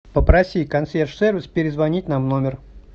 попроси консьерж сервис перезвонить нам в номер